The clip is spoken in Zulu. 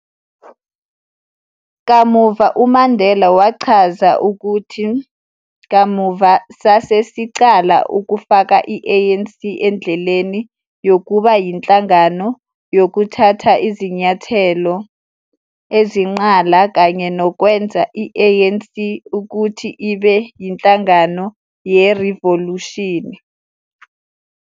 Kamuva uMandela wachaza ukuthi kamuva, "sasesiqala ukufaka i-ANC endleleni yokuba yinhlangano yokuthatha izinyathelo ezinqala kanye nokwenza i-ANC ukuthiibe yinhlangano yerivolushini."